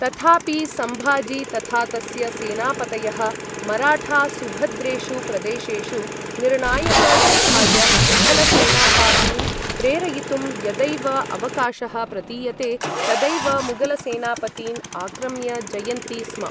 तथापि, सम्भाजी तथा तस्य सेनापतयः, मराठा सुभद्रेषु प्रदेशेषु निर्णायकयुद्धाय मुघलसेनापातीन् प्रेरयितुं यदैव अवकाशः प्रतीयते, तदैव मुगलसेनापतीन् आक्रम्य जयन्ति स्म।